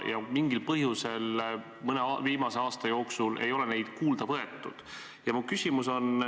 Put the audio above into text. Mingil põhjusel ei ole mõne viimase aasta jooksul neid kuulda võetud.